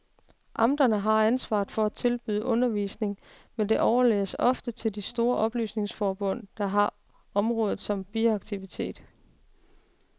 Amterne har ansvaret for at tilbyde undervisning, men det overlades ofte til de store oplysningsforbund, der har området som biaktivitet.